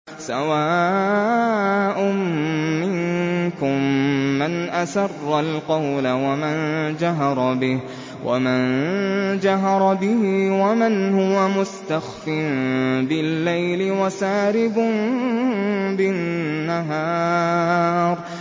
سَوَاءٌ مِّنكُم مَّنْ أَسَرَّ الْقَوْلَ وَمَن جَهَرَ بِهِ وَمَنْ هُوَ مُسْتَخْفٍ بِاللَّيْلِ وَسَارِبٌ بِالنَّهَارِ